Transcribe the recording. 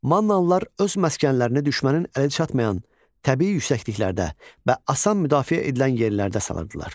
Mannalılar öz məskənlərini düşmənin əli çatmayan təbii yüksəkliklərdə və asan müdafiə edilən yerlərdə salırdılar.